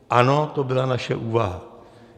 Ano, to byla naše úvaha.